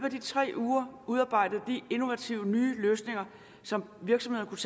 af de tre uger udarbejdede de innovative løsninger som virksomhederne